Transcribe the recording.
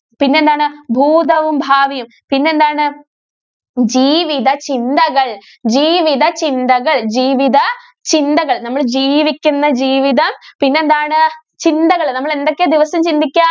പിന്നെന്താണ്? ഭൂതവും, ഭാവിയും. പിന്നെന്താണ്? ജീവിതചിന്തകള്‍, ജീവിതചിന്തകള്‍, ജീവിത ചിന്തകള്‍ നമ്മള് ജീവിക്കുന്ന ജീവിതം പിന്നെന്താണ്? ചിന്തകള്, നമ്മള് എന്തൊക്കെയാ ദിവസം ചിന്തിക്കുക?